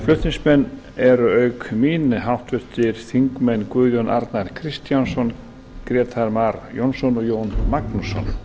flutningsmenn eru auk mín háttvirtir þingmenn guðjón a kristjánsson grétar mar jónsson og jón magnússon